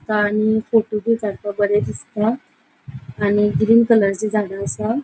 तानी फोटो बी कड़पाक बरे दिसता. आणि ग्रीन कलरचे झाडा असा.